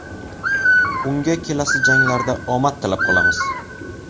Unga kelasi janglarda omad tilab qolamiz!